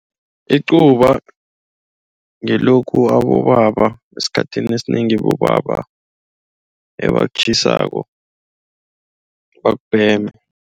Icuba ngilokhu abobaba, esikhathini esinengi bobaba ebakutjhisako bakubheme.